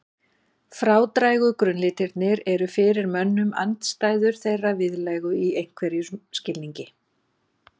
Frádrægu grunnlitirnir eru fyrir mönnum andstæður þeirra viðlægu í einhverjum skilningi.